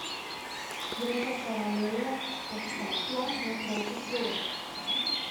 Gre za paralelne spektakle na krajših progah.